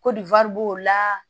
Ko nin wari b'o la